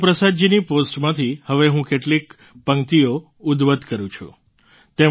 ગુરુપ્રસાદજીની પૉસ્ટમાંથી હવે હું કેટલીક પંક્તિઓ ઉધ્વત કરું છું